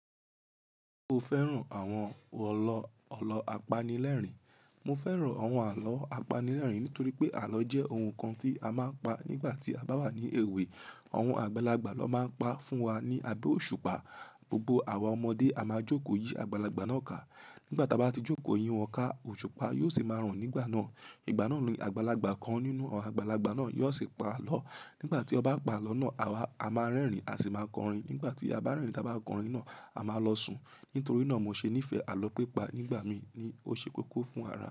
Mo fẹ́ràn àwọn àlọ́ ọlọ apanilẹ́rìn Mo fẹ́ràn àwọn àlọ́ apanilẹ́rìn-ín nítorí pé àlọ́ jẹ́ ohun kan tí a máa ń pa nígbà tí a bá wà ní èwe. Àwọn àgbàlagbà ló máa ń pa fún wa ní abẹ́ òṣùpá. Gbogbo àwa ọmọdé a máa jókòó yí àgbàlagbà náà ká. Nígbà táa bá ti jókòó yí wọn ká, òṣùpá yóò sì máa ràn nígbà náà. Ìgbà náà ni àgbàlagbà kan nínú àwọn àgbàlagbà náà yóò sì pa àlọ́. Nígbà tí ó bá pa àlọ́ náà, àwa a máa rẹ́rìn-ín a sì máa kọrin. Nígbà tí a bá rẹ́rìn, táa bá kọrin náà, a máa lọ sùn. Nítorí náà mo ṣe nífẹ̀ẹ́ àlọ́ pípa. Nígbà mí ní ó ṣe kókó fún ara.